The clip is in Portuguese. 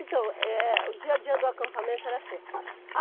Então, eh, o dia a dia do acampamento era assim.